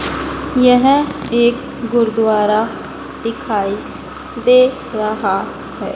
यह एक गुरुद्वारा दिखाई दे रहा है।